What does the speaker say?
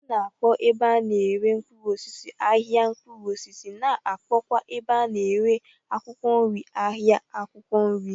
A na-akpọ ebe a na-ere mkpụrụosisi "ahịa mkpụrụosisi ' na akpọkwa ebe a na-ere akwụkwọ nri 'ahịa akwụkwọ nri '.